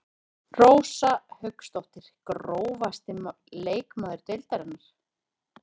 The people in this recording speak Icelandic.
Rósa Hauksdóttir Grófasti leikmaður deildarinnar?